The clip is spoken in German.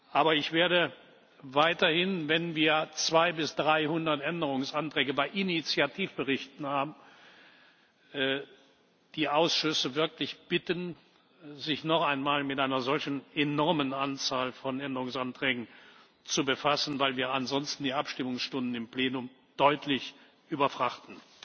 Aber ich werde weiterhin, wenn wir 200 bis 300 Änderungsanträge bei Initiativberichten haben, die Ausschüsse wirklich bitten, sich noch einmal mit einer solch enormen Anzahl von Änderungsanträgen zu befassen, weil wir ansonsten die Abstimmungsstunden im Plenum deutlich überfrachten.